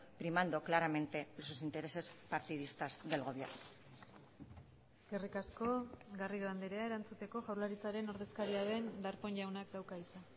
primando claramente sus intereses partidistas del gobierno eskerrik asko garrido andrea erantzuteko jaurlaritzaren ordezkaria den darpón jaunak dauka hitza